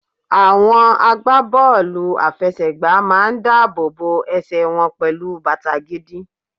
Àwọn agbá bọ́ọ̀lù àfẹsẹ̀ gbà ń máa dáàbò bo ẹsẹ̀ wọn pẹlu bàtà gidi.